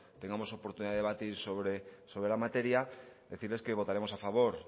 tengamos oportunidad de debatir sobre la materia decirles que votaremos a favor